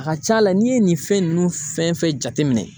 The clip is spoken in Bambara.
A ka ca la n'i ye nin fɛn ninnu fɛn fɛn jateminɛ.